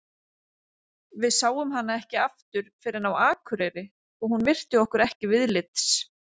Við sáum hana ekki aftur fyrr en á Akureyri og hún virti okkur ekki viðlits.